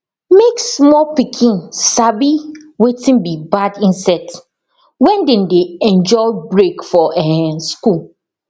make small pikin sabi wetin be bad insect when dem dey enjoy break for um school